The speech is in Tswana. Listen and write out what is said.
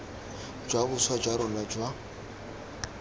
jwa boswa jwa rona jwa